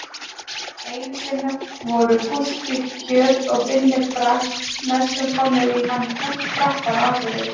Einu sinni voru Gústi kjöt og Binni Frank næstum komnir í hann krappan á Akureyri.